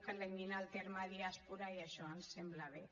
que elimina el terme diàspora i això ens sembla bé